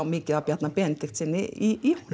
mikið af Bjarna Benediktssyni í